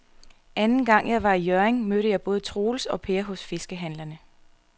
Anden gang jeg var i Hjørring, mødte jeg både Troels og Per hos fiskehandlerne.